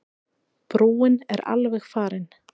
Brúin er alveg farin.